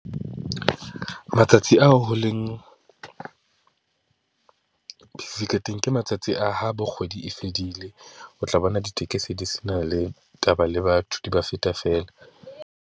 Matsatsi ao ho leng ke matsatsi a ho bo kgwedi e fedile. O tla bona ditekesi di se na le taba le batho, di ba feta feela.